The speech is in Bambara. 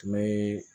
Tun bɛ